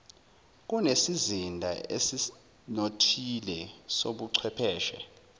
kunesizinda esinothile sobuchwepheshe